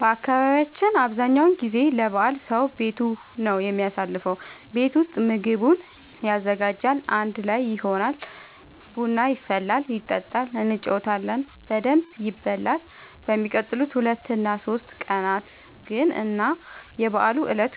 በአካባቢያችን አብዛኛው ጊዜ ለበዓል ሰዉ ቤቱ ነው የሚያሳልፈው። ቤት ውስጥ ምግቡን ያዘጋጃል፣ አንድ ላይ ይሆናል፣ ቡና ይፈላል ይጠጣል እንጫወታለን በደንብ ይበላል በሚቀጥሉት ሁለት እና ሶስት ቀናት ግን እና የበዓሉ እለት